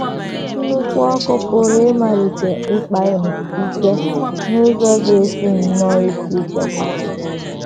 Nnukwu ọkụ pụrụ ịmalite ịkpa ike n’ụzọ ga - esi nnọọ ike ịchịkwa.